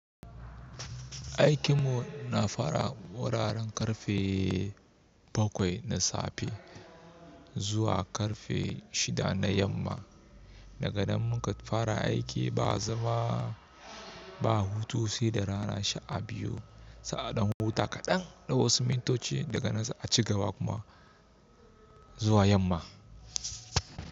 Aikin mu na fara wuraren ƙarfe bakwai na safe zuwa ƙarfe shida na yamma. Daga nan mu ka fara aiki ba zama ba, hutu sai da rana sha biyu. Sai, aɗan huta kaɗan, na wasu mintoci daga nan sai aci gaba kuma zuwa yamma.